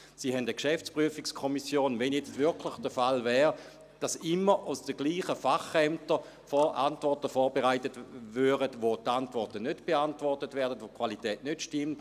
Sie haben eine GPK, wenn es jetzt wirklich der Fall wäre, dass immer aus denselben Fachämtern Antworten vorbereitet würden, bei denen die Fragen nicht beantwortet werden, bei denen die Qualität nicht stimmt.